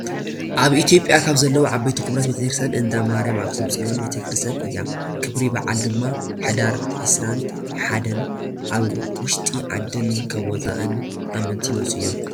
ኣብ ኢትዮጰያ ካብ ዘለዋ ዓበይቲ ክቡራት ቤክርትያን እንዳ ማርያም ኣክሱም ፅዮን ቤተክርስትያን እያ። ክብሪ በዓል ድማ ሕዳር ዒስራን ሓደን ካብ ውሽጢ ዓድን ካብ ወፃእን ኣመንቲ ይመፁ እዩ።